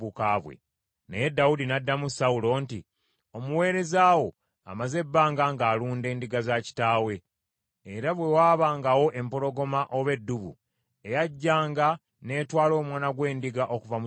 Naye Dawudi n’addamu Sawulo nti, “Omuweereza wo amaze ebbanga ng’alunda endiga za kitaawe, era bwe waabangawo empologoma oba eddubu eyajjanga n’etwala omwana gw’endiga okuva mu kisibo,